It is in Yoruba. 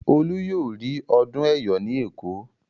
Olú yóò rí ọdún Ẹ̀yọ̀ ní Èkó.